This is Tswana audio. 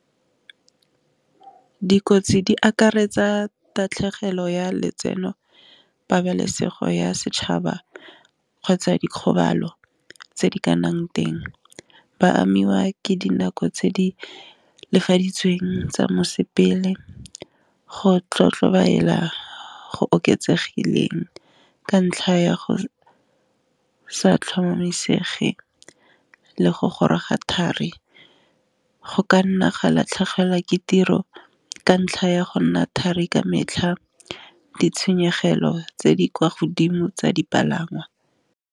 Dikotsi di akaretsa tatlhegelo ya letseno, pabalesego ya setšhaba, kgotsa dikgobalo tse di ka nnang teng ba amiwa ke dinako tse di lefaditsweng tsa mosepele, go tlotlo belaela go oketsegileng, ka ntlha ya go sa tlhomamisege le go goroga thari go ka nna ga latlhegelwa ke tiro ka ntlha ya go nna thari ka metlha, ditshenyegelo tse di kwa godimo tsa dipalangwa.